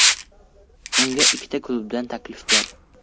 Unga ikkita klubdan taklif bor.